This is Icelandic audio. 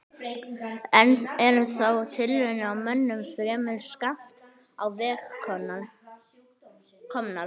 Enn eru þó tilraunir á mönnum fremur skammt á veg komnar.